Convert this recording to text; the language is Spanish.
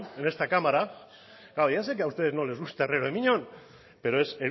en esta cámara claro ya sé que a ustedes no les gusta herrero de miñón pero es